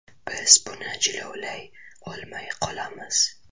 Biz buni jilovlay olmay qolamiz.